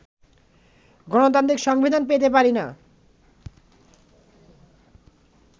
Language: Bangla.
গণতান্ত্রিক সংবিধান পেতে পারি না